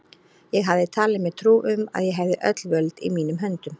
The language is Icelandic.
Ég hafði talið mér trú um, að ég hefði öll völd í mínum höndum.